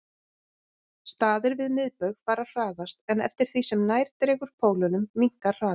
Staðir við miðbaug fara hraðast en eftir því sem nær dregur pólunum minnkar hraðinn.